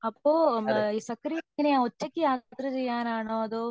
അപ്പോ സത്യദേവിന് എങ്ങനാ ഒറ്റക് യാത്ര ചെയ്യാൻ ആണോ